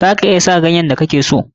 Za ka iya kuma sa ganyen da kake so.